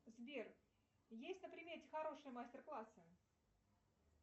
сбер есть на примете хорошие мастер классы